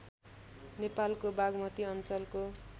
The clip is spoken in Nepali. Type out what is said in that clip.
नेपालको बागमती अञ्चलको